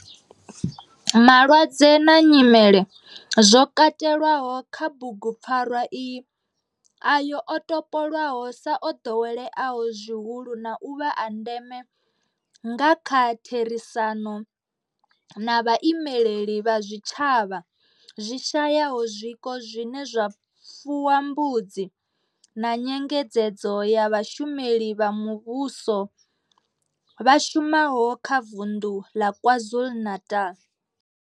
Malwadze na nyimele zwo katelwaho kha bugupfarwa iyi ndi ayo o topolwaho sa o ḓoweleaho zwihulu na u vha a ndeme nga kha therisano na vhaimeleli vha zwitshavha zwi shayaho zwiko zwine zwa fuwa mbudzi na nyengedzedzo ya vhashumeli vha muvhusho vha shumaho kha vunḓu ḽa KwaZulu-Natal.